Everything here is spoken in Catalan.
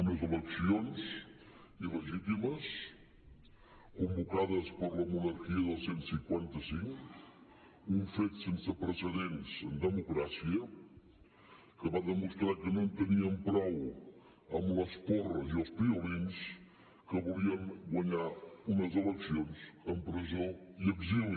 unes eleccions il·legítimes convocades per la monarquia del cent i cinquanta cinc un fet sense precedents en democràcia que va demostrar que no en tenien prou amb les porres i els piolins que volien guanyar unes eleccions amb presó i exili